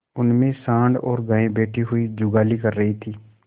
उनमें सॉँड़ और गायें बैठी हुई जुगाली कर रही थी